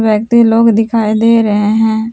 व्यक्ति लोग दिखाई दे रहे हैं।